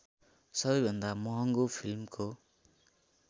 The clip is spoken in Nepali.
सबैभन्दा महँगो फिल्मको